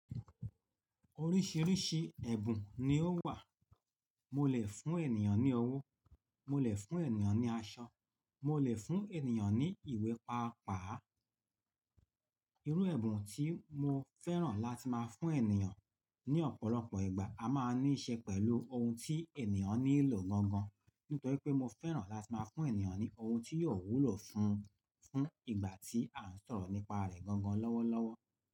Oríṣìíríṣìí ẹ̀bùn ni ó wà. Mo lè fún ènìyàn ní owó, mo lè fún ènìyàn ní aṣọ, mo lè fún ènìyàn ní ìwé, pàápàá irú ẹ̀bùn tí mo fẹ́ràn láti máa fún ènìyàn ní ọ̀pọ̀lọpọ̀ ìgbà, a máa ní í ṣe pẹ̀lú ohun tí ènìyàn nílò gangan. Nítorí pé mo fẹ́ràn láti máa fún ènìyàn ní ohun tí yóò wúlò fún un fún ìgbà tí à ń sọ̀rọ̀ nípa rẹ̀ gangan lọ́wọ́lọ́wọ́.